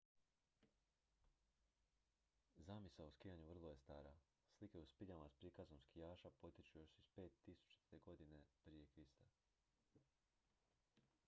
zamisao o skijanju vrlo je stara slike u spiljama s prikazom skijaša potječu još iz 5000. godine prije krista